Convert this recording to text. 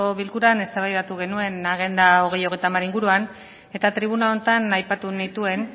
bilkuran eztabaida genuen agenda hogei hogeita hamar inguruan eta tribuna honetan aipatu nituen